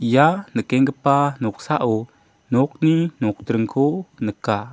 ia nikenggipa noksao nokni nokdringko nika.